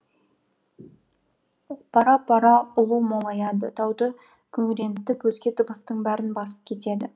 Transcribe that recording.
бара бара ұлу молаяды тауды күңірентіп өзге дыбыстың бәрін басып кетеді